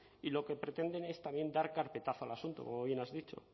y lo que pretenden es también dar carpetazo al asunto como bien has dicho